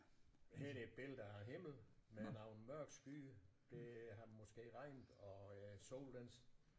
Her er det et billede at himlen med nogle mørke skyer det har måske regnet og øh solen den